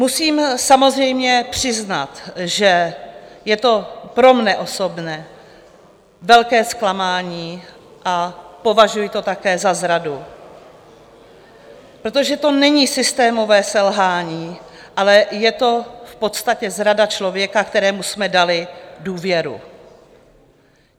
Musím samozřejmě přiznat, že je to pro mě osobně velké zklamání a považuji to také za zradu, protože to není systémové selhání, ale je to v podstatě zrada člověka, kterému jsme dali důvěru.